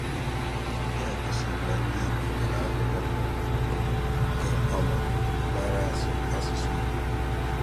Nke a gòsìrì na ndị Ìgbò gụ̀rụ̀ akwùkwó nke ọma màrà asụ̀ asụ̀sụ́ Ìgbò.